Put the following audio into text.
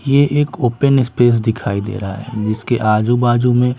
ये एक open space दिखाई दे रहा है जिसके आजू-बाजू में--